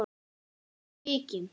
Ég var svikinn